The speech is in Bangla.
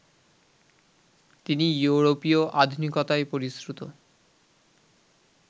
তিনি ইয়োরোপীয় আধুনিকতায় পরিশ্রুত